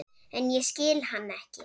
En ég skil hann ekki.